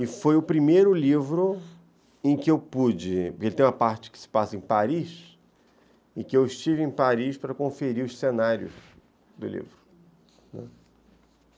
E foi o primeiro livro em que eu pude... Porque ele tem uma parte que se passa em Paris, em que eu estive em Paris para conferir os cenários do livro, né.